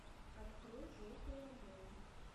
открой желтые обои